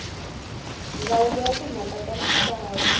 ndzawulo ya timhaka ta misava